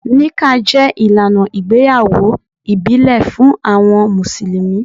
Níkkàh jẹ ilànà ìgbéyàwó ìbílẹ̀ fún awọn musulumi.